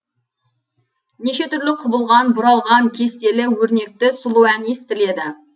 неше түрлі құбылған бұралған кестелі өрнекті сұлу ән естіледі